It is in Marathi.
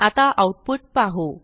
आता आऊटपुट पाहू